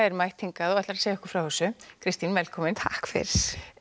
er mætt hingað og ætlar að segja okkur frá þessu Kristín velkomin takk fyrir